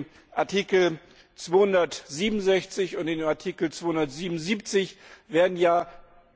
In Artikel 267 und in Artikel 277 werden ja